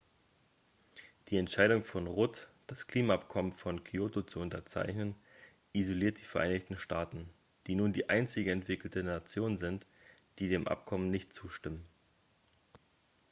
die entscheidung von rudd das klimaabkommen von kyoto zu unterzeichnen isoliert die vereinigten staaten die nun die einzige entwickelte nation sind die dem abkommen nicht zustimmen